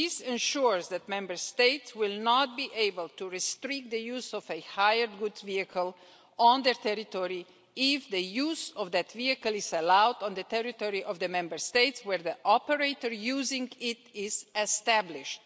This ensures that Member States will not be able to restrict the use of a hired goods vehicle on their territory if the use of that vehicle is allowed on the territory of the Member States where the operator using it is established.